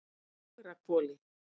Fagrahvoli